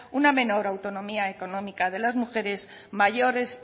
una menor autonomía económica de las mujeres mayores